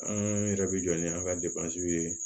An yɛrɛ bɛ jɔ ni an ka ye